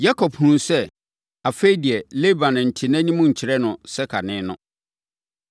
Yakob hunuu sɛ, afei deɛ, Laban nte nʼanim nkyerɛ no sɛ kane no.